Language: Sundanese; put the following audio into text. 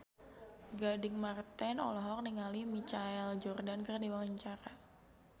Gading Marten olohok ningali Michael Jordan keur diwawancara